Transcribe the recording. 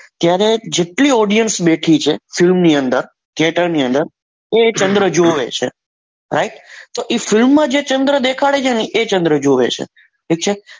ત્યારે જેટલી audience બેઠી છે film ની અંદર theater ની અંદર એ ચંદ્ર જુએ છે રાઈટ તો એ film માં જે ચંદ્ર દેખાડે છે એ ચંદ્ર જોવે છે પછી